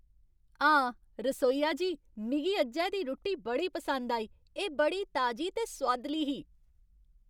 हां, रसोइया जी, मिगी अज्जै दी रुट्टी बड़ी पसंद आई। एह् बड़ी ताजी ते सुआदली ही।